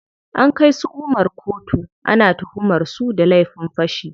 An kai su Umar koto, ana tuhumar su da laifin fashi.